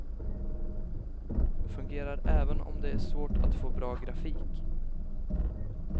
Fungerar även om det är svårt att få bra grafik.